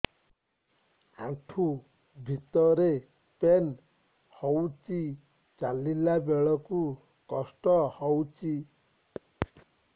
ଆଣ୍ଠୁ ଭିତରେ ପେନ୍ ହଉଚି ଚାଲିଲା ବେଳକୁ କଷ୍ଟ ହଉଚି